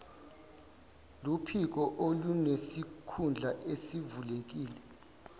luphiko olunesikhundla esivulekile